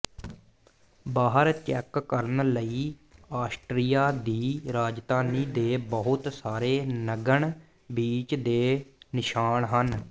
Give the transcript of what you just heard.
ਬਾਹਰ ਚੈੱਕ ਕਰਨ ਲਈ ਆਸਟ੍ਰੀਆ ਦੀ ਰਾਜਧਾਨੀ ਦੇ ਬਹੁਤ ਸਾਰੇ ਨਗਨ ਬੀਚ ਦੇ ਨਿਸ਼ਾਨ ਹਨ